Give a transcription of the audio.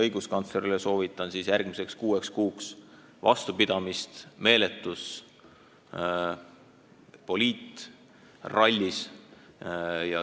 Õiguskantslerile soovin järgmiseks kuueks kuuks vastupidamist meeletus poliitrallis.